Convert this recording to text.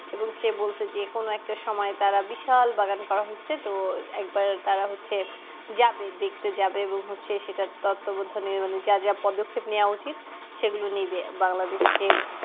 এবং সে বলছে যেকোনো একটা সময় তারা বিশাল বাগান করা হয়েছে তো একবার তারা হচ্ছে যাবে দেখতে যাবে এবং হচ্ছে সেটার তত্তবোধনে মানে যা যা পদক্ষেপ নিয়া উচিত সেগুলো নিবে বাংলাদেশকে